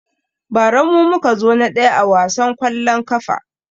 Ba ra mu muka zo na ɗaya a wasan kwallon kafa